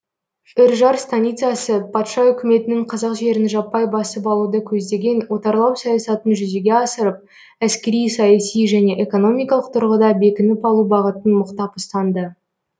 үржар станицасы патша үкіметінің қазақ жерін жаппай басып алуды көздеген отарлау саясатын жүзеге асырып әскери саяси және экономикалық тұрғыда бекініп алу бағытын мықтап ұстанды